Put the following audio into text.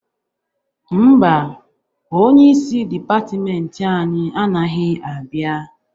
Mba, onyeisi dịpatịmentị anyị anaghị abịa.